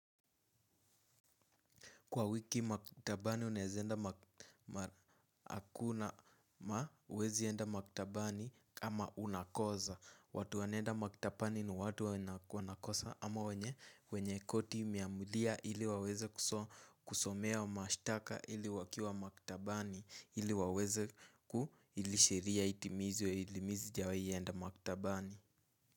Kwa wiki maktabani unaezaenda hakuna huwezi enda maktabani ama unakoza. Watu wanaenda maktabani ni watu wanakosa ama wenye koti imiamulia ili waweze kusomea ua mashitaka ili wakiwa maktabani ili waweze ili sheria itimizwe ili mi sijawai enda maktabani.